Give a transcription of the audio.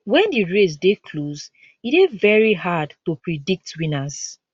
wen di race dey close e dey veri hard to predict winners